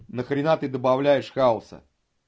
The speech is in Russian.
нахрена ты добавляешь хауса